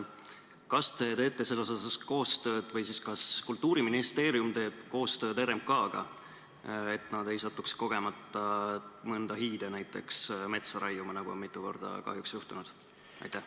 Kas teie teete või siis kas Kultuuriministeerium teeb koostööd RMK-ga, et nad ei satuks kogemata mõnda hiide metsa raiuma, nagu on mitu korda kahjuks juhtunud?